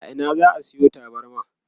a Ina za'a Sayo tabarma?